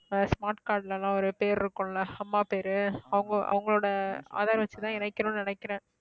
ஆஹ் smart card ல எல்லாம் ஒரு பேர் இருக்கும்ல அம்மா பேரு அவங்க அவங்களோட aadhar வச்சுதான் இணைக்கணும்னு நினைக்கிறேன்